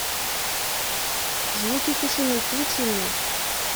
звуки тишины включи мне